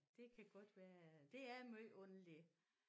Det kan godt være ja det er måj underligt